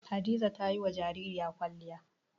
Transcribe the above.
Hadiza ta yi wa jaririya kwalliya.